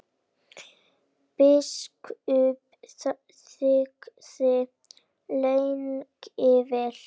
Biskup þagði lengi vel.